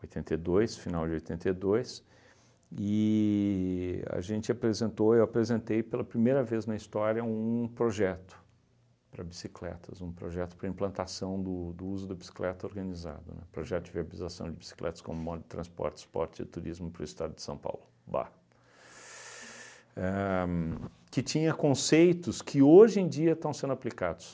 oitenta e dois, final de oitenta e dois, e a gente apresentou, eu apresentei pela primeira vez na história um projeto para bicicletas, um projeto para implantação do do uso da bicicleta organizada, né, projeto de verbalização de bicicletas como modo de transporte, suporte de turismo para o estado de São Paulo, BAR, éh que tinha conceitos que hoje em dia estão sendo aplicados,